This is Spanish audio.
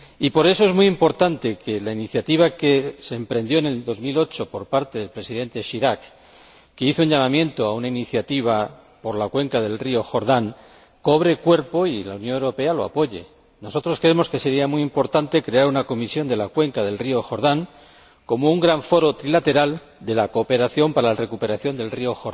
Por eso es muy importante que la iniciativa que se emprendió en 2008, por parte del Presidente Chirac que hizo un llamamiento a una iniciativa por la cuenca del río Jordán cobre cuerpo y que la Unión Europea la apoye. Nosotros creemos que sería muy importante crear una comisión de la cuenca del río Jordán como un gran foro trilateral de la cooperación para la recuperación de este río,